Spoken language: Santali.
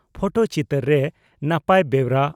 ᱯᱷᱚᱴᱚ ᱪᱤᱛᱟᱹᱨ ᱨᱮ ᱱᱟᱯᱟᱭ ᱵᱮᱣᱨᱟ